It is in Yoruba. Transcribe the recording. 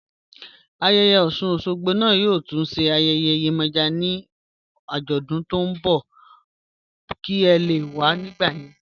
Ayéyè Osun-Osogbo naá yóò tún sé ayéyè Yemoja ni ajódún tó n bọ̀ kí è lè wà nígbà yẹn